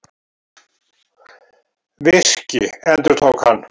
Virki, endurtók hann.